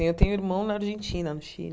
Eu tenho irmão na Argentina, no Chile.